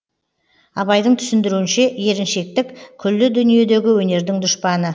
абайдың түсіндіруінше еріншектік күллі дүниедегі өнердің дұшпаны